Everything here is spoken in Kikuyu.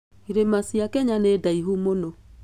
Irĩma cia Kenya nĩ ndaihu mũno.